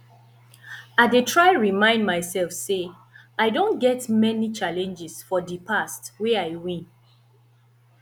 i dey try remind myself say i don get many challenges for di past wey i win